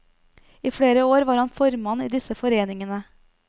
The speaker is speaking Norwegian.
I flere år var han formann i disse foreningene.